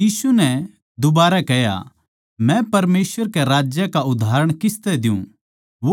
यीशु नै दुबारै कह्या मै परमेसवर के राज का उदाहरण किसतै द्यु